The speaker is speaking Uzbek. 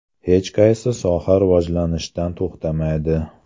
Hech qaysi soha rivojlanishdan to‘xtamaydi.